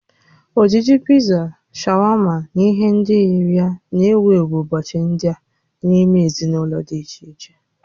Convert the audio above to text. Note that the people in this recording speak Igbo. Ojiji Pizza, shawama na ihe ndị yiri ya na-ewu ewu ụbọchị ndị a n'ime ezinụlọ dị iche iche